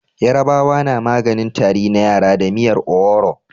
Yarabawa na maganin Tari na yara da miyar owuro